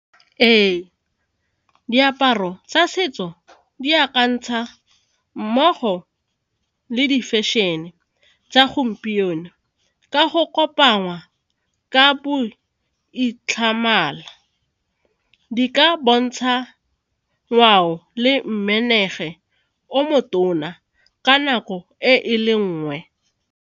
Ee, diaparo tsa setso di akantsha mmogo le di-fashion-e tsa gompieno ka go kopangwa ka bo , di ka bontsha ngwao le o motona ka nako e e le nngwe.